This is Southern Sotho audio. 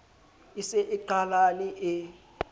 e se e qhalane e